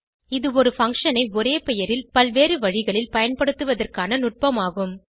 இது ஒரு பங்ஷன் ஐ ஒரே பெயரில் பல்வேறு வழிகளில் பயன்படுத்துவதற்கான நுட்பம் ஆகும்